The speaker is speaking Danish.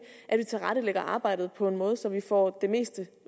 at vi tilrettelægger arbejdet på en måde så vi får det meste